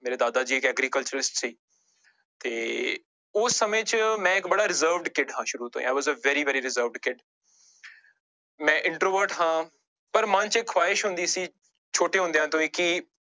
ਮੇਰੇ ਦਾਦਾ ਜੀ agriculture ਚ ਸੀ ਤੇ ਉਸ ਸਮੇਂ ਚ ਮੈਂ ਇੱਕ ਬੜਾ reserved kid ਹਾਂ ਸ਼ੁਰੂ ਤੋਂ i was a very very reserved kid ਮੈਂ introvert ਹਾਂ ਪਰ ਮਨ ਚ ਇਹ ਖੁਹਾਇਸ਼ ਹੁੰਦੀ ਸੀ ਛੋਟੇ ਹੁੰਦਿਆਂ ਤੋਂ ਹੀ ਕਿ